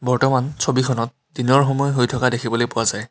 বৰ্তমান ছবিখনত দিনৰ সময় হৈ থকা দেখিবলৈ পোৱা যায়।